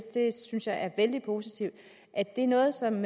synes jeg er vældig positivt noget som